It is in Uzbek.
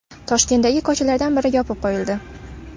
Toshkentdagi ko‘chalardan biri yopib qo‘yildi .